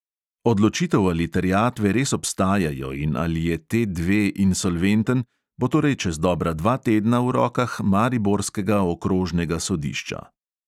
Odločitev, ali terjatve res obstajajo in ali je T dve insolventen, bo torej čez dobra dva tedna v rokah mariborskega okrožnega sodišča.